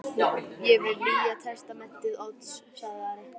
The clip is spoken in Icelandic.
Ég vil Nýja testamentið Odds, sagði Ari.